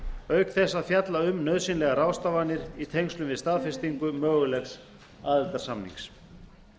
auk þess að fjalla um nauðsynlegar ráðstafanir í tengslum við staðfestingu mögulegs aðildarsamnings